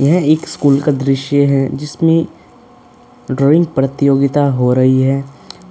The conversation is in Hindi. यह एक स्कूल का दृश्य है। जिसमें ड्रॉइंग प्रतियोगिता हो रही हैं।